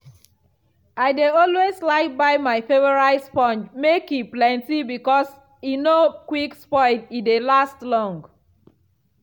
i de always like buy my favourite sponge make e plenty because e no quick spoil e dey last long.